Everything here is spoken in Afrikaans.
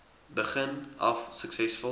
begin af suksesvol